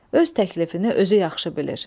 Öz təklifini özü yaxşı bilir.